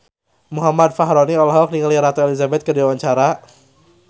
Muhammad Fachroni olohok ningali Ratu Elizabeth keur diwawancara